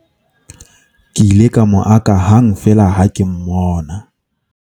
ke ile ka mo aka hang feela ha ke mmona